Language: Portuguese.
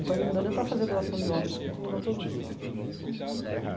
Então, não deu nem para fazer doação de órgãos, contaminou todos os órgãos. Uhum